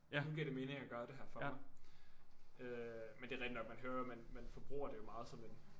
Nu giver det mening at gøre det her for mig øh men det er rigtig nok man hører jo man man forbruger det jo meget som en